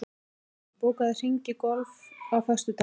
Díanna, bókaðu hring í golf á föstudaginn.